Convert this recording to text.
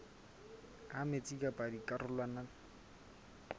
ha metsi pakeng tsa dikarolwana